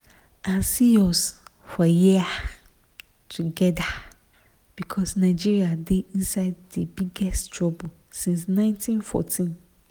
"and see us for hia todega becos nigeria dey inside di biggest trouble since 1914.